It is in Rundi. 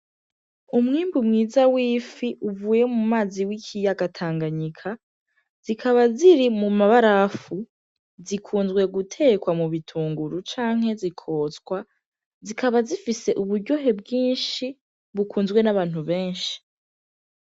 Umwimbu mwiza w'ifi uvuye mu mazi w'ikiyaga Tanganyika zikaba ziri mu mabarafu. Zikunzwe gutekwa mu bitunguru canke zikotswa, zikaba zifise uburyohe bwinshi bukunzwe n'abantu benshi.